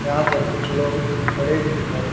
यहां पर कुछ लोग खड़े भी दिखाई--